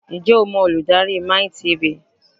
Ǹjẹ́ o mọ olùdarí MiTV?